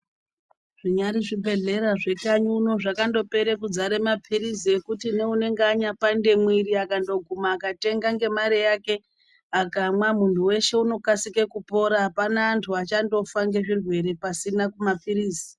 Zvinyari zvibhehlera zvekanyiuno zvakandopere kudzare mapirizi ekuti neunenge anyapande mwiri akandoguma akatenga nemari yake akamwa munhu weshe unokasika kupora , apana antu achandofa ngezvirwere pasina mapirizi .